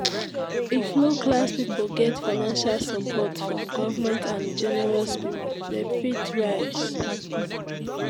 if low class pipo get financial support from government and generous pipo dem fit rise